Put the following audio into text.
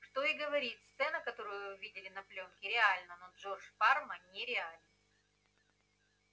что и говорить сцена которую вы видели на плёнке реальна но джордж парма нереален